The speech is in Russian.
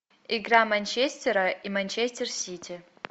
игра манчестера и манчестер сити